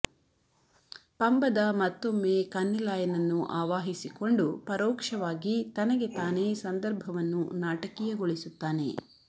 ಪಂಬದ ಮತ್ತೊಮ್ಮೆ ಕನ್ನೆಲಾಯನನ್ನು ಆವಾಹಿಸಿಕೊಂಡು ಪರೋಕ್ಷವಾಗಿ ತನಗೆ ತಾನೇ ಸಂದರ್ಭವನ್ನು ನಾಟಕೀಯಗೊಳಿಸುತ್ತಾನೆ